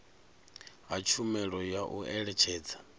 ha tshumelo ya u eletshedza